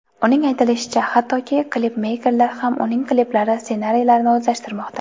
Uning aytishicha, hattoki, klipmeykerlar ham uning kliplari ssenariylarini o‘zlashtirmoqda.